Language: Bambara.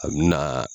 A bi na